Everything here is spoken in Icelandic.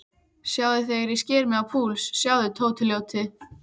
Sjáðu þegar ég sker mig á púls, sjáðu, Tóti ljóti.